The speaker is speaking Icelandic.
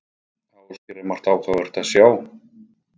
Ásgeir, er margt áhugavert að sjá?